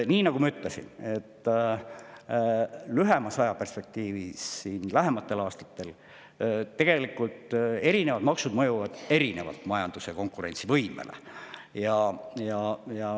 Nii nagu ma ütlesin, lühemas ajaperspektiivis, lähematel aastatel erinevad maksud mõjuvad erinevalt majanduse konkurentsivõimele.